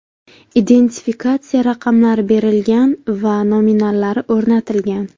Identifikatsiya raqamlari berilgan va nominallari o‘rnatilgan.